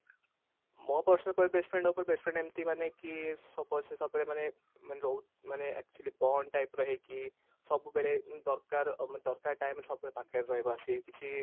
ମୋ personal best friend best friend ଏମତି ମାନେ କି suppose ସେ ସବୁବେଳେ ମାନେ ମାନେ ରହୁ ମାନେ actually bond type ର ହେଇକି ସବୁବେଳେ ଦରକାର ଆମେ ଦରକାର time ରେ ସବୁବେଳେ ପାଖରେ ରହିବା ସେ କିଛି